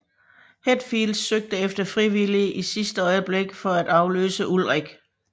Hetfield søgte efter frivillige i sidste øjeblik for at afløse Ulrich